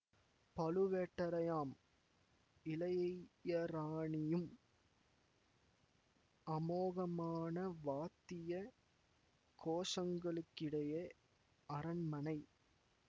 பழுவேட்டரையாம் இளையராணியும் அமோகமான வாத்திய கோஷங்களுக்கிடையே அரண்மனை